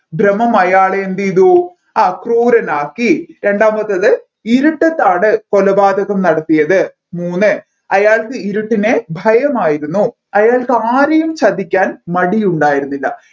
ഭ്രമം അയാളെ എന്ത് ചെയ്തു ആ ക്രൂരനാക്കി രണ്ടാമത്തേത് ഇരുട്ടത്താണ് കൊലപാതകം നടത്തിയത് മൂന്ന് അയാൾക്ക് ഇരുട്ടിനെ ഭയമായിരുന്നു അയാൾക്ക് ആരെയും ചതിക്കാൻ മടിയുണ്ടായിരുന്നില്ല